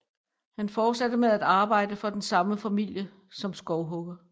Han fortsatte med at arbejde for den samme familie som skovhugger